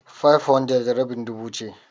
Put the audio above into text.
500 rabin dubu ce.